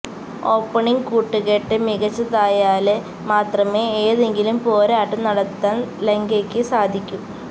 opening കൂട്ടുകെട്ട് മികച്ചതായാല് മാത്രമേ ഏതെങ്കിലും പോരാട്ടം നടത്താന് ലങ്കയ്ക്ക് സാധിക്കൂ